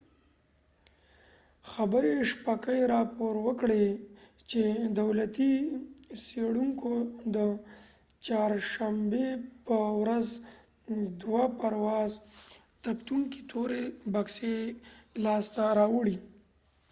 xinhua خبرې شبکې راپور ورکړی چې دولتي څیړونکو د چهارشنبې په ورځ دوه د پرواز ثبتونکي تورې بکسې لاسته راوړي